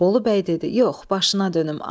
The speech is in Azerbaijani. Bolu bəy dedi: "Yox, başına dönüm.